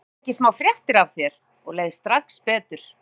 Í dag fékk ég smá fréttir af þér og leið strax betur.